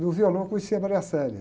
No violão eu conheci a.